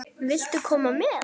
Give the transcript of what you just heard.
Viltu koma með?